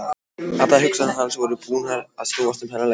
Allar hugsanir hans voru búnar að snúast um þennan leik.